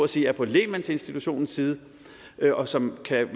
sige er på lægmandsinstitutionens side og som kan